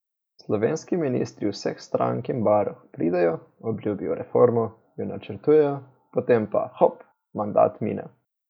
Slovenski ministri vseh strank in barv pridejo, obljubijo reformo, jo načrtujejo, potem pa, hop, mandat mine.